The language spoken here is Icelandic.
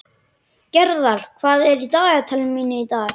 Gerðar, hvað er í dagatalinu mínu í dag?